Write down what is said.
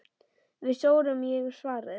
Við sórum, ég hef svarið.